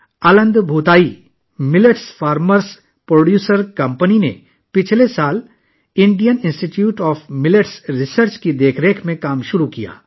Aland Bhootai millets farmers producer company نے گزشتہ سال کرناٹک کے کلبرگی میں Indian institute of millets research کی نگرانی میں کام شروع کیا